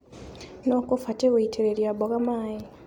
Nũu ũkũbatie gũitĩrĩria mboga maĩ.